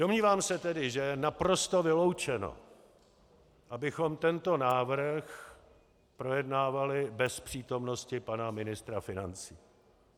Domnívám se tedy, že je naprosto vyloučeno, abychom tento návrh projednávali bez přítomnosti pana ministra financí.